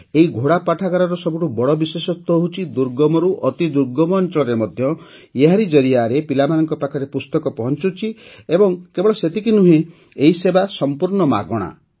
ଏହି ପାଠାଗାରର ସବୁଠୁ ବଡ଼ ବିଶେଷତ୍ୱ ହେଉଛି ଦୁର୍ଗମରୁ ଅତି ଦୁର୍ଗମ ଅଞ୍ଚଳରେ ମଧ୍ୟ ଏହାରି ଜରିଆରେ ପିଲାମାନଙ୍କ ପାଖରେ ପୁସ୍ତକ ପହଞ୍ଚୁଛି ଏବଂ କେବଳ ସେତିକି ନୁହେଁ ଏହି ସେବା ସଂପୂର୍ଣ୍ଣ ମାଗଣା